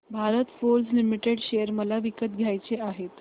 Bharat Forge Limited share मला विकत घ्यायचे आहेत